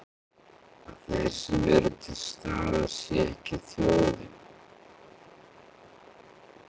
Að þeir sem eru til staðar sé ekki þjóðin?